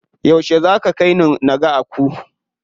Yauce za ka kaini naga Aku?